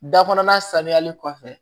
Da kɔnɔna sanuyali kɔfɛ